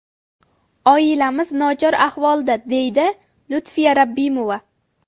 Oilamiz nochor ahvolda”, deydi Lutfiya Rabbimova.